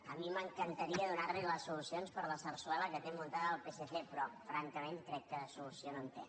a mi m’encantaria donar li les solucions per a la sarsuela que té muntada el psc però francament crec que de solució no en té